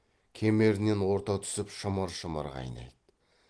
кемерінен орта түсіп шымыр шымыр қайнайды